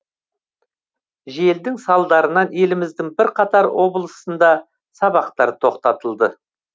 желдің салдарынан еліміздің бірқатар облысында сабақтар тоқтатылды